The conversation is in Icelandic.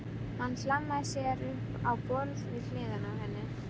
Hann hlammar sér upp á borð við hliðina á henni.